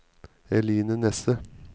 Eline Nesse